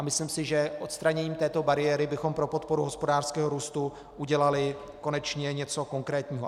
A myslím si, že odstraněním této bariéry bychom pro podporu hospodářského růstu udělali konečně něco konkrétního.